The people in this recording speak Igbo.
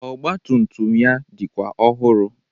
Ọgbatumtum ya dịkwa ọhụrụ